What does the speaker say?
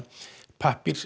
pappír